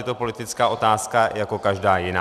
Je to politická otázka jako každá jiná.